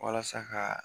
Walasa ka